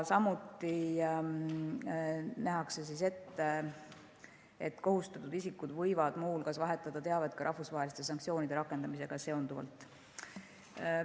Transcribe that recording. Samuti nähakse ette, et kohustatud isikud võivad muu hulgas vahetada teavet rahvusvaheliste sanktsioonide rakendamisega seonduvalt.